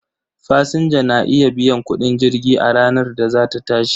Fasinja na iya biyan kudin jirgi a ranar da za ta tashi.